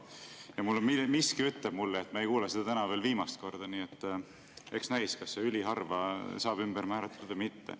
Ja miski ütleb mulle, et me ei kuulnud seda täna sugugi viimast korda, nii et eks näis, kas see "üliharva" saab ümber määratletud või mitte.